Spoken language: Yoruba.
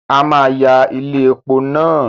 A máa ya ilé epo náà